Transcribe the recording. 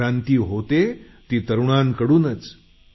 क्रांती होते ती तरुणांकडूनच